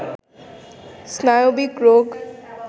স্নায়বিক রোগ